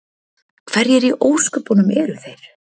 Hverjir í ósköpunum eru þeir?